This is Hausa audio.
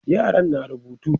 yaran na rubutu